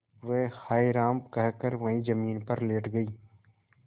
वह हाय राम कहकर वहीं जमीन पर लेट गई